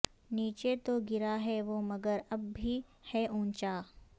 نیچے تو گرا ہے وہ مگر اب بھی ہے اونچا